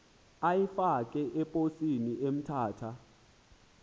uyifake eposini emthatha